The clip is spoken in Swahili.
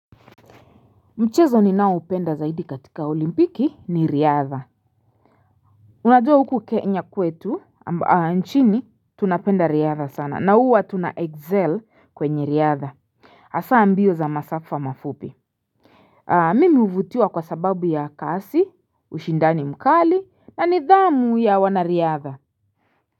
Mchezo ni nao upenda zaidi katika olimpiki ni riadha Unadua huku kenya kwetu nchini tunapenda riadha sana na uwa tuna excel kwenye riadha Asa ambio za masafwa mafupi Mimi uvutua kwa sababu ya kasi ushindani mkali na nidhamu ya wanariadha.